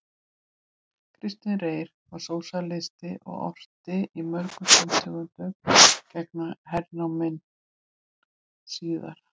Kristinn Reyr var sósíalisti og orti í mörgum tóntegundum gegn hernáminu síðara.